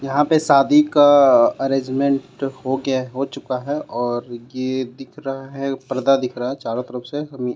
यहाँ पे शादी का अरेंजमेंट हो गया हो चूका हे और ये दिख रहा हे परदा दिख रहा हे चारो तरफ से हम--